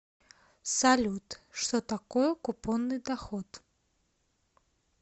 салют что такое купонный доход